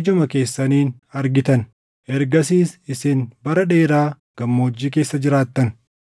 ijuma keessaniin argitan. Ergasiis isin bara dheeraa gammoojjii keessa jiraattan.